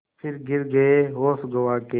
फिर गिर गये होश गँवा के